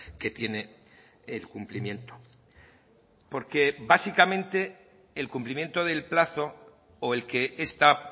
que tiene el cumplimiento porque básicamente el cumplimiento del plazo o el que esta